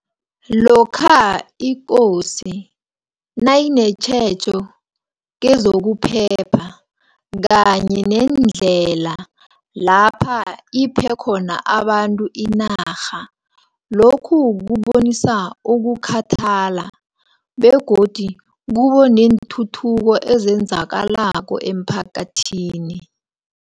Lokha ikosi, nayinetjhejo kezokuphepha, kanye nendlela lapha iphekhona abantu inarha. Lokhu kubonisa ukukhathala begodu kubeneenthuthuko ezenzakalako emphakathini.